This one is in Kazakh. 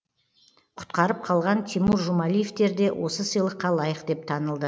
құтқарып қалған тимур жұмалиевтер де осы сыйлыққа лайық деп танылды